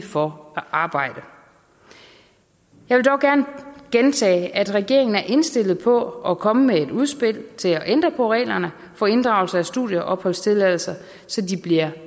for at arbejde jeg vil dog gerne gentage at regeringen er indstillet på at komme med et udspil til at ændre på reglerne for inddragelse af studieopholdstilladelser så de bliver